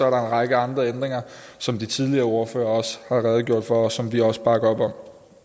en række andre ændringer som de tidligere ordførere også har redegjort for og som vi også bakker op om